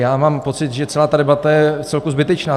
Já mám pocit, že celá ta debata je vcelku zbytečná.